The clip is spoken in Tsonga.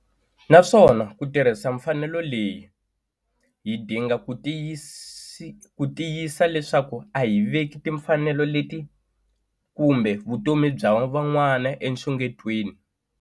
Naswona ku tirhisa mfanelo leyi, hi dinga ku tiyisisa leswaku a hi veki timfanelo leti kumbe vutomi bya van'wana enxungetweni.